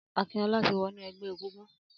Akinola ti wọ̀nú ẹgbẹ égúngún